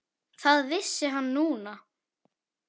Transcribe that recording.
Það vissi hann núna.